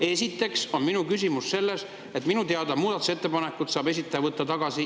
Esiteks on minu küsimus selle kohta, et minu teada saab esitaja oma muudatusettepanekuid tagasi võtta igal ajal.